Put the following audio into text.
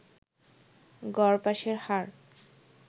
গড় পাসের হার